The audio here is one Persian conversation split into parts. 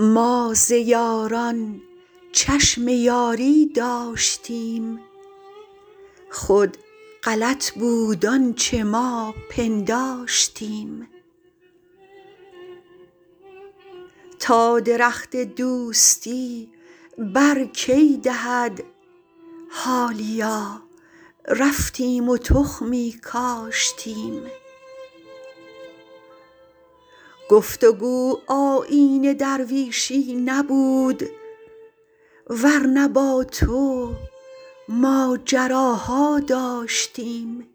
ما ز یاران چشم یاری داشتیم خود غلط بود آنچه ما پنداشتیم تا درخت دوستی بر کی دهد حالیا رفتیم و تخمی کاشتیم گفت و گو آیین درویشی نبود ور نه با تو ماجراها داشتیم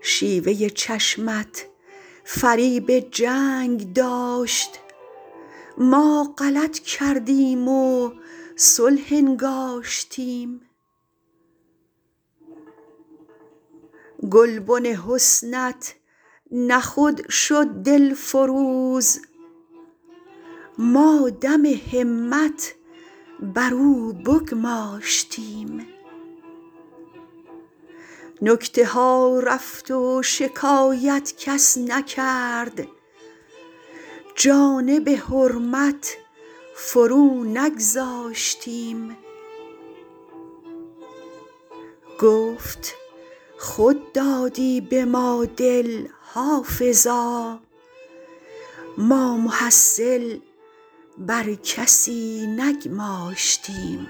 شیوه چشمت فریب جنگ داشت ما غلط کردیم و صلح انگاشتیم گلبن حسنت نه خود شد دلفروز ما دم همت بر او بگماشتیم نکته ها رفت و شکایت کس نکرد جانب حرمت فرو نگذاشتیم گفت خود دادی به ما دل حافظا ما محصل بر کسی نگماشتیم